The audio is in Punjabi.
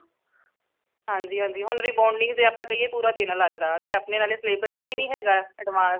ਹਾਂਜੀ ਹਾਂਜੀ ਹੁਣ rebounding ਤੇ ਆਪਾ ਕਹੀਏ ਪੂਰਾ ਦਿਨ ਲਗਦਾ ਤੇ ਅਪਣੇ ਨਾਲੇ syllabus ਚ ਵੀ ਨੀ ਹੈਗਾ advance ਇਨਾ